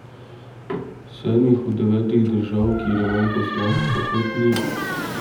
V sedmih od devetih držav, kjer je manj poslank, pa kvot ni.